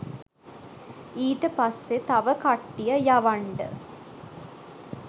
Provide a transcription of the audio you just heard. ඊට පස්සේ තව කට්ටිය යවන්ඩ